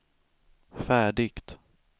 färdigt